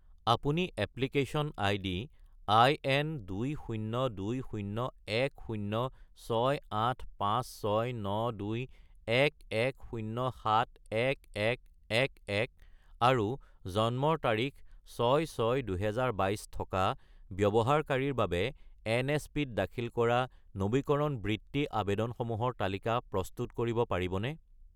আপুনি application ID IN20201068569211071111 আৰু জন্মৰ তাৰিখ 6-6-2022 থকা ব্যৱহাৰকাৰীৰ বাবে এনএছপি-ত দাখিল কৰা নবীকৰণ বৃত্তি আবেদনসমূহৰ তালিকা প্ৰস্তুত কৰিব পাৰিবনে?